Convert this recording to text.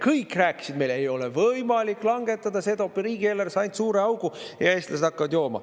Kõik rääkisid meile: ei ole võimalik langetada, see toob riigieelarvesse ainult suure augu ja eestlased hakkavad jooma.